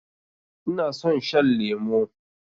Ina son shan lemo